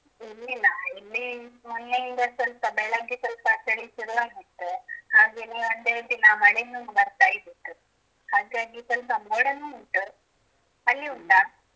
ಇಲ್ಲ ಇಲ್ಲಾ ಇಲ್ಲಿ ಮೊನ್ನೆಯಿಂದ ಸ್ವಲ್ಪ ಬೆಳಗ್ಗೆ ಸ್ವಲ್ಪ ಚಳಿ ಶುರು ಆಗತ್ತೆ ಹಾಗೇನೆ ಒಂದೆರೆಡುದಿನ ಮಳೆನು ಬರ್ತಾ ಇದ್ದಿತು ಹಾಗಾಗಿ ಸ್ವಲ್ಪ ಮೋಡಾನು ಉಂಟು ಅಲ್ಲಿ ಉಂಟಾ?